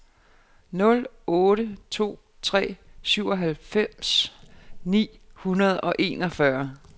nul otte to tre syvoghalvtreds ni hundrede og enogfyrre